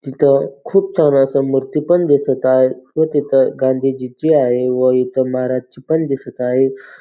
तिथं खूप छान असं मूर्ती पण दिसत आहे व तिथं गांधीजीची आहे व इथं महाराजची पण दिसत आहे.